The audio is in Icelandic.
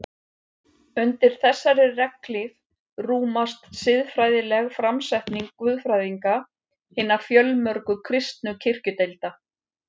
Undir þessari regnhlíf rúmast siðfræðileg framsetning guðfræðinga hinna fjölmörgu kristnu kirkjudeilda.